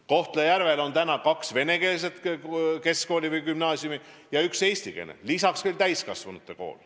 Kohtla-Järvel on praegu kaks venekeelset keskkooli või gümnaasiumi ja üks eestikeelne, lisaks veel täiskasvanute kool.